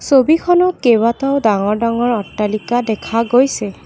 ছবিখনত কেইবাটাও ডাঙৰ ডাঙৰ অট্টালিকা দেখা গৈছে।